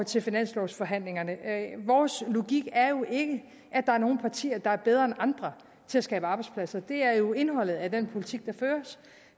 til finanslovforhandlingerne vores logik er jo ikke at der er nogle partier der er bedre end andre til at skabe arbejdspladser det er jo indholdet af den politik der føres